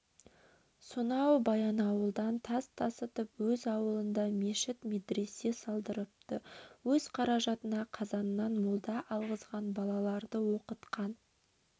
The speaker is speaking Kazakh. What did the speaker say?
сонау баянауылдан тас тасытып өз ауылында мешіт медресе салдырыпты өз қаражатына қазаннан молда алғызған балаларды оқытқан